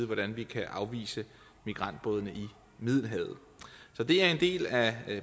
hvordan vi kan afvise migrantbådene i middelhavet så det er en del af